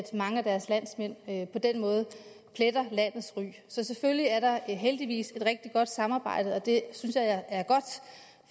mange af deres landsmænd på den måde pletter landets ry så selvfølgelig er der heldigvis et rigtig godt samarbejde det synes jeg er godt